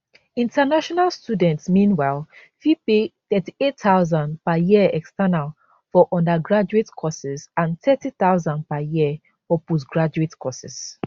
international students meanwhile fit pay 38000 per year external for undergraduate courses and 30000 per year for postgraduate courses